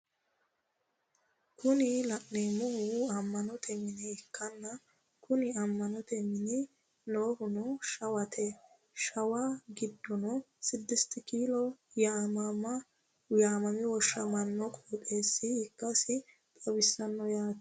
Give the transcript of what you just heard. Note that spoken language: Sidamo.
kuni la'neemohu amma'note mine ikkanna kuni amma'note mini noohuno shawwaati shawwa giddono sidisti kiilo yaamame woshshamaano qooxeesa ikkasi xawisanno yaate.